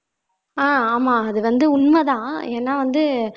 ஆஹ் ஆமா அது வந்து உண்மைதான் ஏன்னா வந்து